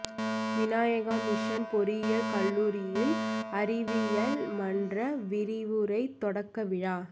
Vinayaka mission பொறியியல் கல்லூரியில் அறிவியல் மன்ற விரிவுரை தொடக்க விழா